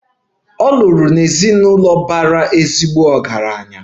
Ọ lụrụ n'ezinụlọ bara ezigbo ọgaranya.